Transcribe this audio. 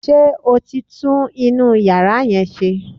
Ṣé o ti tún inú yàrá yẹn ṣe?